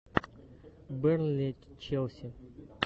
бернли челси